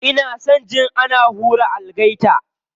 Ina son jin ana hura algaita.